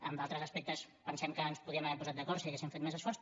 en d’altres aspectes pensem que ens podíem haver posat d’acord si haguéssim fet més esforç